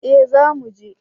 Eh za mu je